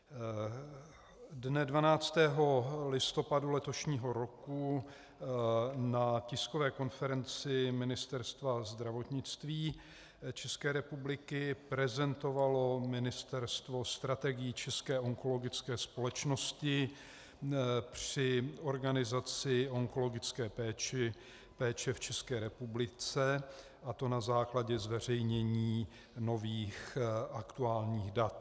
Dne 12. listopadu letošního roku na tiskové konferenci Ministerstva zdravotnictví České republiky prezentovalo Ministerstvo strategii České onkologické společnosti při organizaci onkologické péče v České republice, a to na základě zveřejnění nových aktuálních dat.